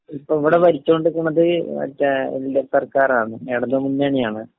ഇപ്പൊ ഇവിടെ ഭരിച്ചോണ്ടിരിക്കുന്നത് മറ്റേ എൽ.ഡി.എഫ്. സർക്കാരാണ്, ഇടതുമുന്നണിയാണ്.